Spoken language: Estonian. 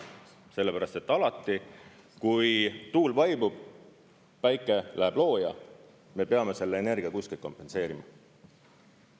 Sellepärast et alati, kui tuul vaibub, päike läheb looja, me peame selle energia kuskilt kompenseerima.